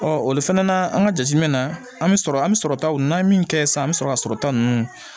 olu fana na an ka jateminɛ na an bɛ sɔrɔ an bɛ sɔrɔtaw n'an ye min kɛ sisan an bɛ sɔrɔ ka sɔrɔta ninnu